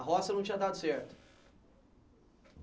A roça não tinha dado certo.